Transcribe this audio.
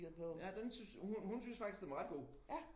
Ja den syntes hun hun syntes faktisk den var ret god